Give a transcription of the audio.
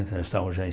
Nós já estávamos já em